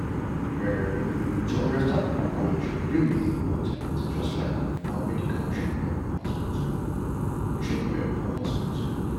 em to understand people culture really dey important just like confam medical treatment for hospital. treatment for hospital.